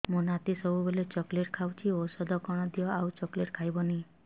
ମୋ ନାତି ସବୁବେଳେ ଚକଲେଟ ଖାଉଛି ଔଷଧ କଣ ଦିଅ ଆଉ ଚକଲେଟ ଖାଇବନି